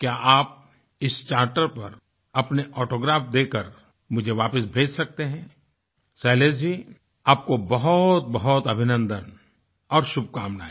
क्या आप इस चार्टर पर अपने ऑटोग्राफ देकर मुझे वापस भेज सकते हैंशैलेश जी आपको बहुतबहुत अभिनन्दन और शुभकामनाएं